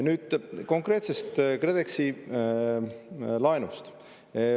Nüüd konkreetsest KredExi laenust.